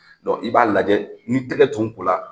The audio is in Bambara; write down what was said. i b'a lajɛ, ni tɛgɛ tun kola,